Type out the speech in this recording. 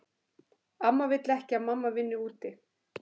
Amma vill ekki að mamma vinni úti.